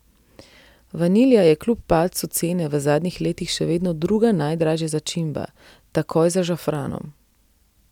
Vanilija je kljub padcu cene v zadnjih letih še vedno druga najdražja začimba, takoj za žafranom.